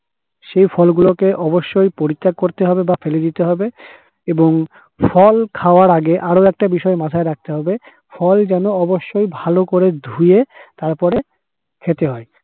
সেই ফল গুলোকে অবশ্যই পরীক্ষা করতে হবে বা ফেলে দিতে হবে এবং ফল খাওয়ার আগে আরও একটা বিষয় মাথায় রাখতে হবে, ফল যেন অবশ্যই ভালো করে ধুয়ে তারপরে খেতে হয়।